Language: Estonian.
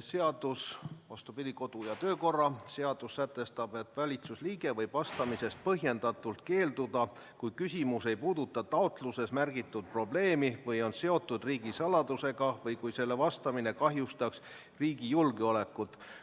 seadus – vastupidi, kodu- ja töökorra seadus – sätestab, et valitsusliige võib vastamisest põhjendatult keelduda, kui küsimus ei puuduta taotluses märgitud probleemi või on seotud riigisaladusega või kui sellele vastamine kahjustaks riigi julgeolekut.